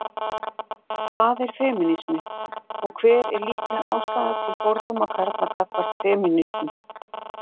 hvað er femínismi og hver er líkleg ástæða til fordóma karla gagnvart femínistum